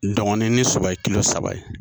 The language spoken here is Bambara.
Dɔngɔnin ni Soba ye kilo saba ye